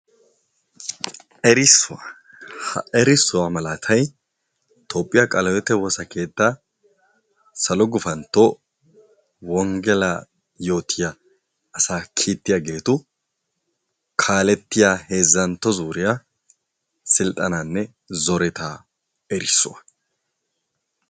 Erissiwaa ha erissuwa malaatay xophphiya qalehiwote wosakeettaa salo gupantto wonggelaa yootiya asa kiittiyageetu kaalettiya heezzantto zuuriya silxxanaanne zoretaa erissuwa.